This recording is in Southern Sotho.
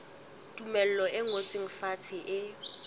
tumello e ngotsweng fatshe e